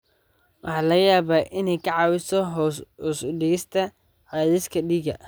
waxaa laga yaabaa inay kaa caawiso hoos u dhigista cadaadiska dhiigga.